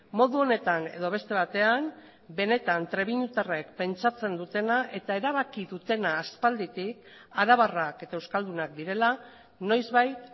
modu honetan edo beste batean benetan trebiñutarrek pentsatzen dutena eta erabaki dutena aspalditik arabarrak eta euskaldunak direla noizbait